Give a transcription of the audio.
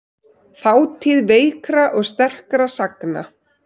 Þátíð veikra og sterkra sagna.